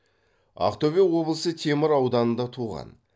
ақтөбе облысы темір ауданында туған